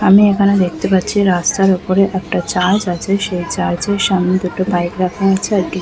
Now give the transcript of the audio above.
আমি এখানে দেখতে পাচ্ছি রাস্তার সামনে একটা চার্চ আছে সেই চার্চের সামনে দুটো বাইক রাখা আছে এক--- ।